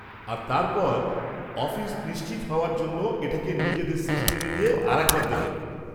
আর তারপর অফিস নিশ্চিত হওয়ার জন্য এটাকে নিজেদের সিস্টেমে দিয়ে আরেকবার দেখে নেবে।